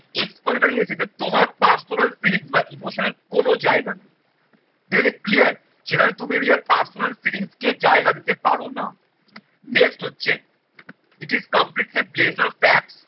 expository essay যে তোমার personal feeling বা emotional কোন জায়গা নেই সেখানে clear সেখানে তুমি নিজের personal feeling কে জায়গা দিতে পারো না। next হচ্ছে it is completely blaze of pack